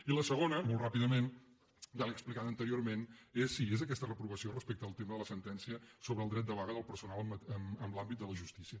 i la segona molt ràpidament ja l’he explicada anteriorment és aquesta reprovació respecte al tema de la sentència sobre el dret de vaga del personal en l’àmbit de la justícia